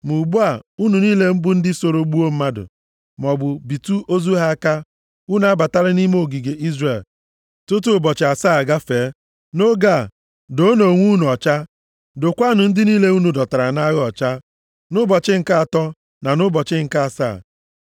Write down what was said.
“Ma ugbu a, unu niile bụ ndị soro gbuo mmadụ, maọbụ bitụ ozu ha aka, unu abatala nʼime ogige Izrel tutu ụbọchị asaa agafee. Nʼoge a, doonụ onwe unu ọcha, dokwaanụ ndị niile unu dọtara nʼagha ọcha, nʼụbọchị nke atọ na nʼụbọchị nke asaa.